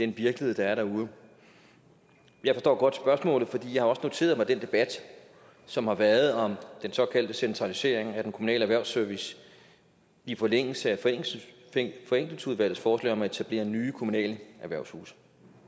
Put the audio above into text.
virkelighed der er derude jeg forstår godt spørgsmålet for jeg har også noteret mig den debat som har været om den såkaldte centralisering af den kommunale erhvervsservice i forlængelse af forenklingsudvalgets forslag om at etablere nye kommunale erhvervshuse